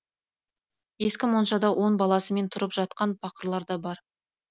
ескі моншада он баласымен тұрып жатқан пақырлар да бар